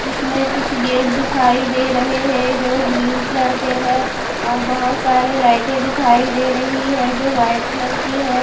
इसमें कुछ गेट दिखाई दे रहे है जो ग्रीन कलर के है और बहुत सारी लाइटे दिखाई दे रही है जो वाइट कलर की है।